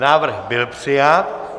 Návrh byl přijat.